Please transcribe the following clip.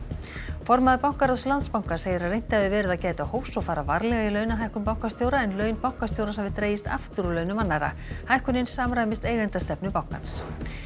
formaður bankaráðs Landsbankans segir að reynt hafi verið að gæta hófs og fara varlega við launahækkun bankastjóra en laun bankastjórans hafi dregist aftur úr launum annarra hækkunin samræmist eigendastefnu bankans